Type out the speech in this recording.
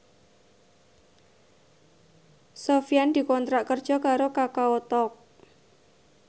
Sofyan dikontrak kerja karo Kakao Talk